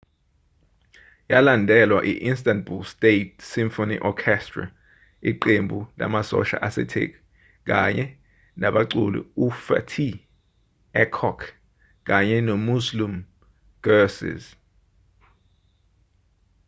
yalandelwa i-istanbul state symphony orchestra iqembu lamasosha asetheki kanye nabaculi ufatih erkoç kanye nomüslüm gürses